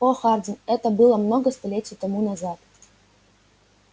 о хардин это было много столетий тому назад